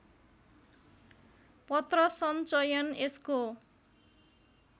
पत्रसञ्चयन यसको